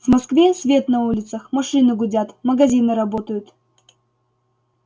в москве свет на улицах машины гудят магазины работают